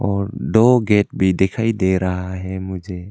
और दो गेट भी दिखाई दे रहा है मुझे।